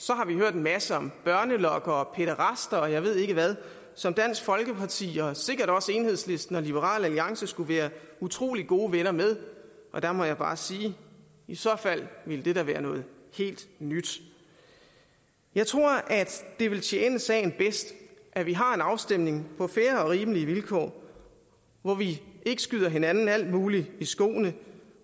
masse om børnelokkere og pæderaster og jeg ved ikke hvad som dansk folkeparti og sikkert også enhedslisten og liberal alliance skulle være utrolig gode venner med og der må jeg bare sige i så fald ville det da være noget helt nyt jeg tror at det vil tjene sagen bedst at vi har en afstemning på fair og rimelige vilkår hvor vi ikke skyder hinanden alt muligt i skoene